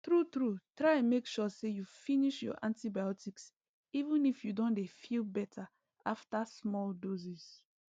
true true try make sure say you finish your antibiotics even if you don dey feel better after small doses